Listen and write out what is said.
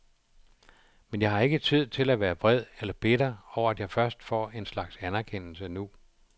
Men jeg har ikke tid til at være vred eller bitter over at jeg først får en slags anerkendelse nu.